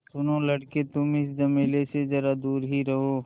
सुनो लड़के तुम इस झमेले से ज़रा दूर ही रहो